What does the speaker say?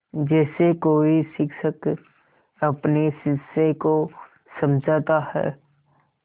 जैसे कोई शिक्षक अपने शिष्य को समझाता है